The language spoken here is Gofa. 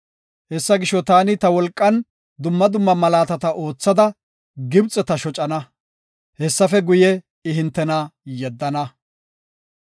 Hessa gisho, taani ta wolqan dumma dumma malaatata oothada Gibxeta shocana. Hessafe guye, I hintena yeddana.